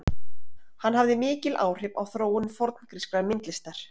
Hann hafði mikil áhrif á þróun forngrískrar myndlistar.